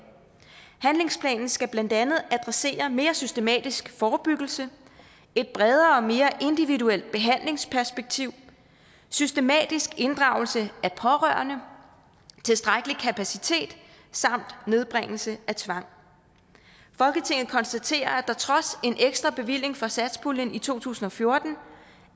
handlingsplanen skal blandt andet adressere mere systematisk forebyggelse et bredere og mere individuelt behandlingsperspektiv systematisk inddragelse af pårørende tilstrækkelig kapacitet samt nedbringelse af tvang folketinget konstaterer at der trods en ekstra bevilling fra satspuljen i to tusind og fjorten